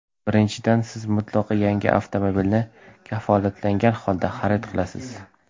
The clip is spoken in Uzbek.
Birinchidan, siz mutlaqo yangi avtomobilni kafolatlangan holda xarid qilasiz.